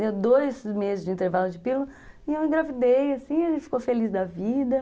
Deu dois meses de intervalo de pílula e eu engravidei, assim, e ele ficou feliz da vida.